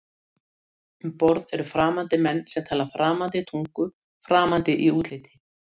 Um borð eru framandi menn sem tala framandi tungu, framandi í útliti.